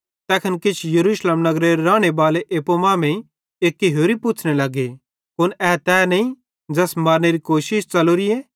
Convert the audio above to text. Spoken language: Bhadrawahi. तैखन किछ यरूशलेम नगरेरे रानेबाले एप्पू मांमेइं एक्की होरि पुच्छ़ने लगे कुन ए तै नईं ज़ैस मारनेरी कोशिश च़लोरिए